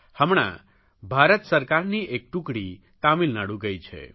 હમણાં ભારત સરકારની એક ટુકડી તામિલનાડુ ગઇ છે